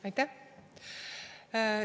Aitäh!